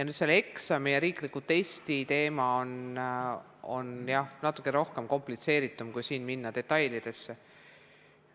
Selle eksami ja riikliku testi teema on natuke rohkem komplitseeritud, kui minna detailidesse.